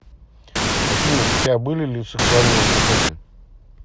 афина у тебя были ли сексуальные отношения